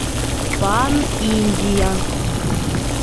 пан индия